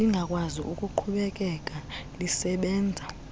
lingakwazi ukuqhubekeka lisebenza